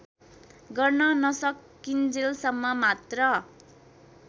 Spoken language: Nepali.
गर्न नसकिन्जेलसम्म मात्र